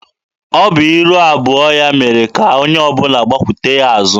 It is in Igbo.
Ọ bụ iru abụọ ya mere ka onye ọbụla gbakwute ya azụ.